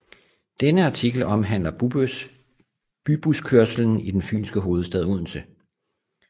Denne artikel omhandler bybuskørslen i den Fynske hovedstad Odense